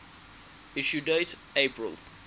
issue date april